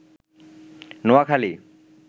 Noakhali